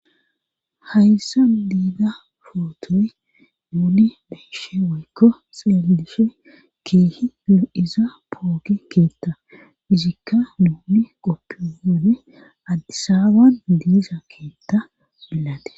Hayssa diida pootoy nuni beyishe woykko xeellishe kiihi lu7iza pooki keetta izikka nuni qoppione addisaawan diisa keetta bilate